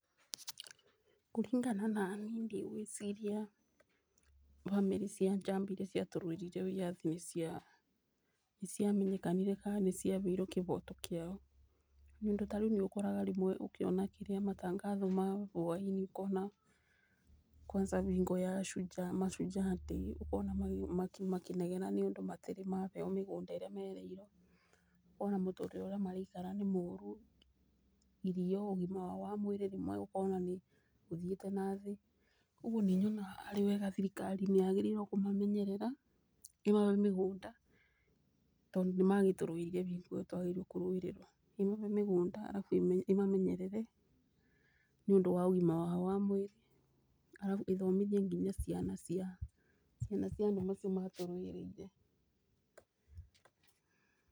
Kũringana nani ndĩgwĩciria bamĩrĩ cia njamba irĩa ciatũrũire wĩathi nĩciamenyekanire kana nĩcianire kĩhoto kĩao, nĩũndũ ta rĩũ nĩwonaga rĩmwe ũkĩona matangatho ma hwaĩinĩ ũkona kwanza bingo ya mashujaa day ũkona makĩnegena tondũ matĩrĩ mahewa mĩgũnda ĩrĩa mereirwo ,ona mũtũrĩre ũrĩa maraikara nĩ moru, irio ,ũgima wao mwĩrĩ rĩmwe ũkona nĩ ũthiĩte nathĩ, ũguo nĩnyonaga harĩ wega thirikari nĩagĩrĩirwe kũmamenyerera maheo ĩmahe mĩgũnda tondũ nĩmatũrũĩrĩire hĩndĩ ĩyo ya kũrũĩrĩrwa maheo mĩgũnda arafu ĩmamenyerere nĩũndũ wa ũgima wao wa mwĩrĩ arafu ĩthomithie nginyagia ciana cia andũ acio matũrũĩrĩire .